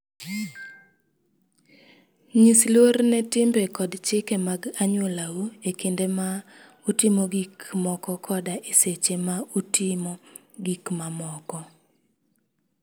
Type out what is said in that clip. Nyis luor ne timbe kod chike mag anyuolau e kinde ma utimo gik moko koda e seche ma utimo gik mamoko.